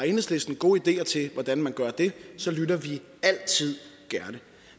har enhedslisten gode ideer til hvordan man gør det så lytter vi altid gerne